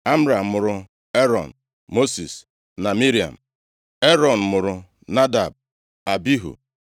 Amram mụrụ Erọn, Mosis na Miriam. Erọn mụrụ Nadab, Abihu, Elieza na Itama.